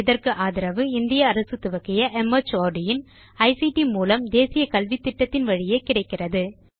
இதற்கு ஆதரவு இந்திய அரசு துவக்கிய மார்ட் இன் ஐசிடி மூலம் தேசிய கல்வித்திட்டத்தின் வழியே கிடைக்கிறது